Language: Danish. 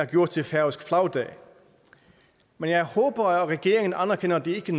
gjort til færøsk flagdag men jeg håber at regeringen anerkender at det ikke